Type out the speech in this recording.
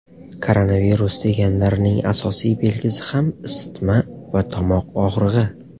Koronavirus deganlarining asosiy belgisi ham isitma va tomoq og‘rig‘i.